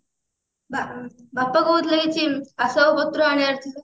ବାପା କହୁଥିଲେ କିଛି ଅସବାପତ୍ର ଆଣିବାର ଥିଲା